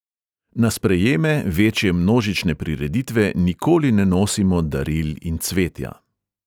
Na sprejeme, večje množične prireditve nikoli ne nosimo daril in cvetja.